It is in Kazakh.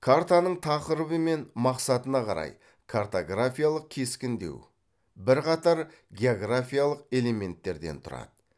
картаның тақырыбы мен мақсатына қарай картографиялық кескіндеу бірқатар географиялық элементтерден тұрады